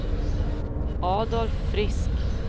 Adolf Frisk